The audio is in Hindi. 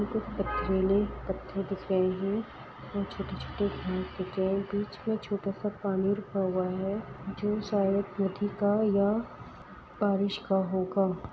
ये कुछ पथरीले पत्थर दिख रहे है। बहुत छोटे-छोटे घास दिख रहे है और बीच में छोटा सा पानी रुका हुआ है जो शायद नदी का या बारिश का होगा।